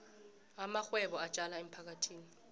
amarhwebo atjala emphakathini